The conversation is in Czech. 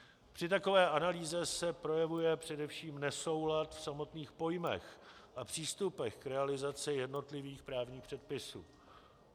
Při takové analýze se projevuje především nesoulad v samotných pojmech a přístupech k realizaci jednotlivých právních předpisů.